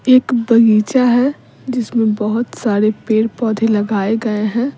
एक बगीचा है जिसमें बहुत साढ़े पेड़-पौधे लगाए गए हैं।